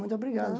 Muito obrigado.